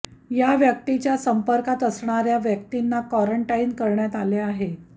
या व्यक्तीच्या संपर्कात असणाऱ्या व्यक्तींना क्वारंटाइन करण्यात आले आहे